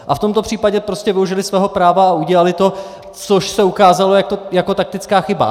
A v tomto případě prostě využili svého práva a udělali to, což se ukázalo jako taktická chyba.